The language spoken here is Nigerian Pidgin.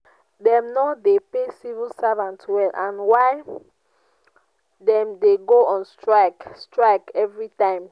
dem no dey pay civil servants well and na why dem dey go on strike strike every time